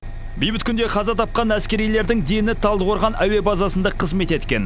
бейбіт күнде қаза тапқан әскерилердің дені талдықорған әуе базасында қызмет еткен